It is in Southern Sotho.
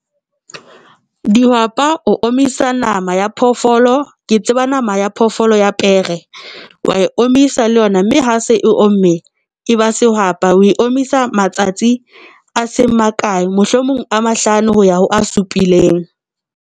Dihwapa o omisa nama ya phoofolo ke tseba nama ya phoofolo ya pere wa e omisa le yona mme ha se e omme e ba sehwapa. O e omisa matsatsi a seng ma kae mohlomong a mahlano ho ya ho a supileng.